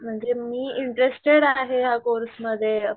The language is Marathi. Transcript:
म्हणजे मी इंटरेस्टेड आहे या कोर्स मध्ये